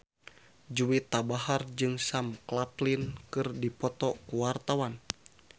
Juwita Bahar jeung Sam Claflin keur dipoto ku wartawan